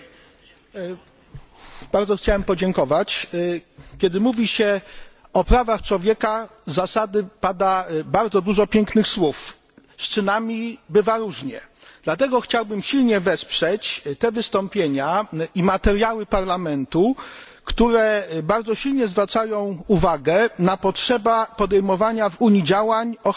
Panie Przewodniczący! Kiedy mówi się o prawach człowieka z zasady pada bardzo dużo pięknych słów. Z czynami bywa różnie. Dlatego chciałbym silnie wesprzeć te wystąpienia i materiały Parlamentu, które bardzo silnie zwracają uwagę na potrzeby podejmowania w Unii działań o charakterze pragmatycznym.